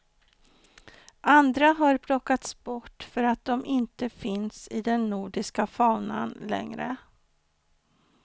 Andra har plockats bort för att de inte finns i den nordiska faunan längre.